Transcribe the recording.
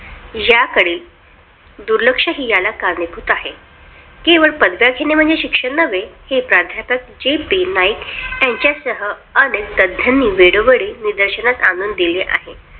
याकडे दुर्लक्ष ही कारणीभूत आहे केवळ पदव्या घेणे म्हणजे शिक्षण नव्हे प्राध्यापक JP नाईक यांच्यासह वेळोवेळी निदर्शनास आणून दिले आहे.